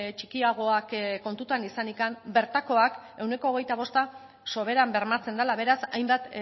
txikiagoak kontutan izanik bertakoak ehuneko hogeita bosta soberan bermatzen dela beraz hainbat